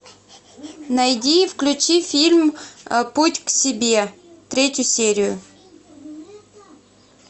найди и включи фильм путь к себе третью серию